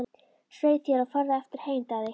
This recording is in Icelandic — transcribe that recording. Svei þér og farðu aftur heim, Daði!